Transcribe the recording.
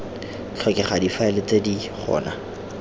tlhokega difaele tse di gona